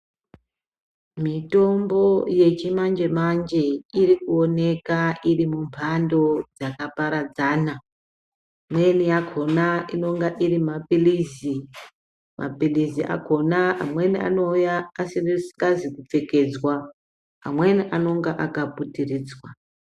Mitombo yechimanje-manje irikuoneka iri mumhando dzakaparadzana. Imweni yakona inenge iri maphirizi, maphirizi akona amweni anouya asikazi kupfekedzwa ,amweni anenge akaputiridzwa.